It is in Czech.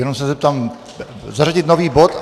Jenom se zeptám: zařadit nový bod.